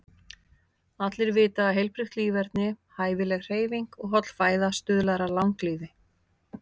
Allir vita að heilbrigt líferni, hæfileg hreyfing og holl fæða stuðlar að langlífi.